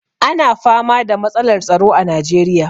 Ana fama da matsalar tsaro a najeriya.